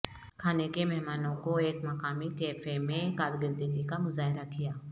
کھانے کے مہمانوں کو ایک مقامی کیفے میں کارکردگی کا مظاہرہ کیا